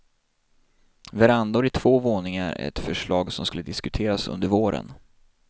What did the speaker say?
Verandor i två våningar är ett förslag som ska diskuteras under våren.